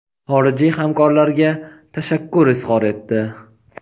xorijiy hamkorlarga tashakkur izhor etdi.